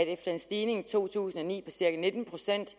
efter en stigning i to tusind og ni på cirka nitten procent